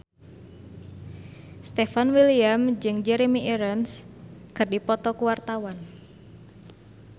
Stefan William jeung Jeremy Irons keur dipoto ku wartawan